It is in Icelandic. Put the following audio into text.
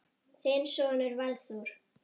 Þinn sonur Valþór.